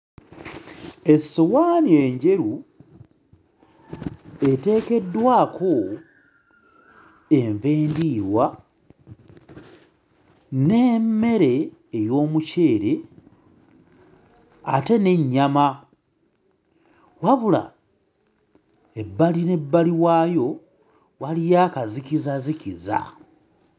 Essowaani enjeru eteekeddwako enva endiirwa n'emmere ey'omuceere ate n'ennyama wabula ebbali n'ebbali waayo waliyo akazikizazikiza.